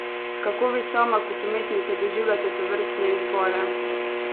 Kako vi sama kot umetnica doživljate tovrstne izbore?